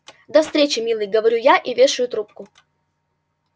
до встречи милый говорю я и вешаю трубку